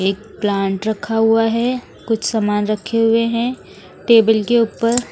एक प्लांट रखा हुआ है कुछ सामान रखे हुए हैं टेबल के ऊपर--